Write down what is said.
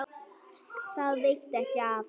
Það veitti ekki af.